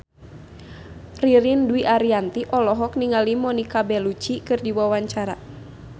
Ririn Dwi Ariyanti olohok ningali Monica Belluci keur diwawancara